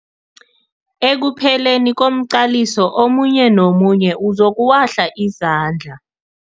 Ekupheleni komqaliso omunye nomunye uzokuwahla izandla.